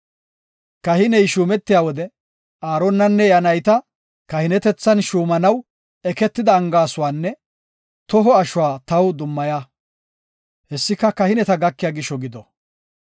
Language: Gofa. “Kahiney shuumetiya wode, Aaronanne iya nayta kahinetethan shuumanaw eketida angaaysuwanne toho ashuwa taw dummaya. Hessika, kahineta gakiya gisho gido.